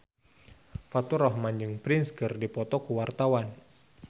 Faturrahman jeung Prince keur dipoto ku wartawan